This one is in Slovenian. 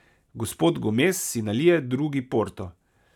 Gospod Gomez si nalije drugi porto.